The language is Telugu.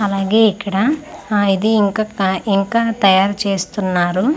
అలాగే ఇక్కడ ఆ ఇది ఇంకా క ఇంకా తయారు చేస్తున్నారు.